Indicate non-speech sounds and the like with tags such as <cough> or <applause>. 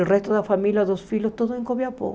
O resto da família, dos filhos, todos. <unintelligible>